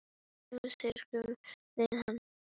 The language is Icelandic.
Nú syrgjum við hana.